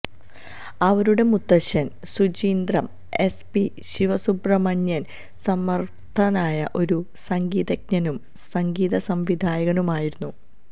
അവരുടെ മുത്തച്ഛൻ Suchindram S P Sivasubramanian സമർത്ഥനായ ഒരു സംഗീതജ്ഞനും സംഗീതസംവിധായകനുമായിരുന്നു